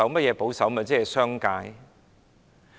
是保守派和商界。